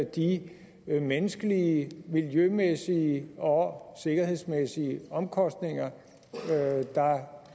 de menneskelige miljømæssige og sikkerhedsmæssige omkostninger der